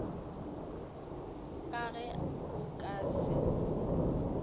ka ge o ka se